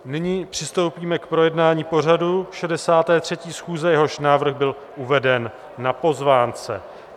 Nyní přistoupíme k projednání pořadu 63. schůze, jehož návrh byl uveden na pozvánce.